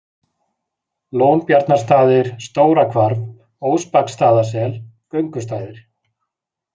Lónbjarnarstaðir, Stóra-Hvarf, Óspaksstaðasel, Göngustaðir